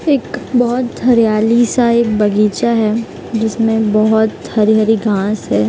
एक बहुत हरियाली सा एक बगीचा है जिसमें बहुत हरी-हरी घास है।